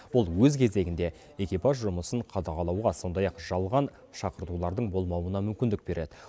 бұл өз кезегінде экипаж жұмысын қадағалауға сондай ақ жалған шақыртулардың болмауына мүмкіндік береді